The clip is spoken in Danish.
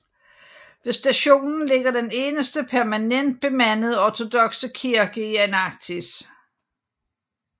Ved stationen ligger den eneste permanent bemandede ortodokse kirke i Antarktis